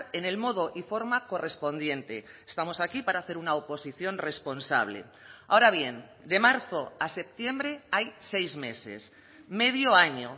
en el modo y forma correspondiente estamos aquí para hacer una oposición responsable ahora bien de marzo a septiembre hay seis meses medio año